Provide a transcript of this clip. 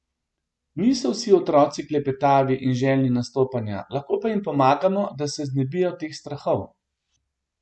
Niso vsi otroci klepetavi in željni nastopanja, lahko pa jim pomagamo, da se znebijo teh strahov.